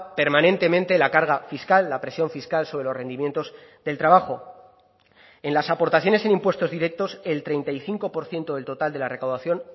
permanentemente la carga fiscal la presión fiscal sobre los rendimientos del trabajo en las aportaciones en impuestos directos el treinta y cinco por ciento del total de la recaudación